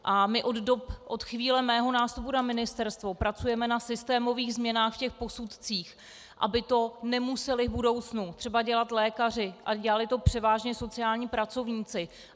A my od chvíle mého nástupu na ministerstvo pracujeme na systémových změnách v těch posudcích, aby to nemuseli v budoucnu třeba dělat lékaři, ale dělali to převážně sociální pracovníci.